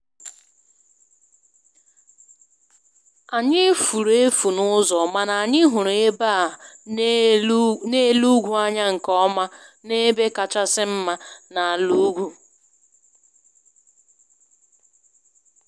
Anyị furu efu n`ụzọ, mana anyị hụrụ ebe a na-ele ugwu anya nkeọma n`ebe kachasị mma n`ala ugwu